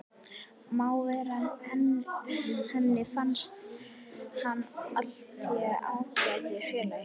Má vera, en henni fannst hann allténd ágætur félagi.